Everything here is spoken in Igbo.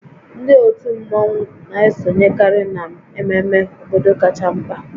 Ndị otu mmọnwu na-esonyekarị n'ememe obodo kacha mkpa